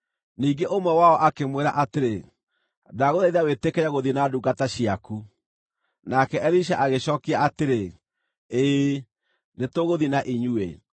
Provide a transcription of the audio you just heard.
Ningĩ ũmwe wao akĩmwĩra atĩrĩ, “Ndagũthaitha wĩtĩkĩre gũthiĩ na ndungata ciaku.” Nake Elisha agĩcookia atĩrĩ, “Ĩĩ, nĩtũgũthiĩ na inyuĩ.”